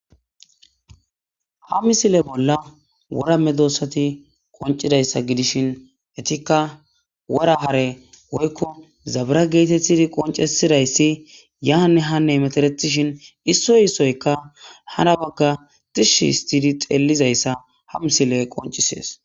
ha misile bolla wora medoossati qoncidayssa gidishin etikka wora hare woykko zabira geetethidi qoncesidayssi yaanne hanne hmeteretishin issoy issoyka hara bagga tishi histidi xeellizayssa ha misiley qoncisees